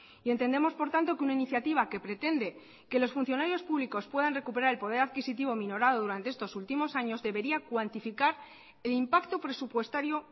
y entendemos por tanto que una iniciativa que pretende que los funcionarios públicos puedan recuperar el poder adquisitivo minorado durante estos últimos años debería cuantificar el impacto presupuestario